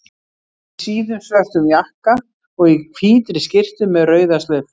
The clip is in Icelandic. Í síðum, svörtum jakka og í hvítri skyrtu með rauða slaufu.